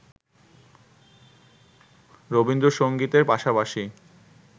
রবীন্দ্রসংগীতের পাশাপাশি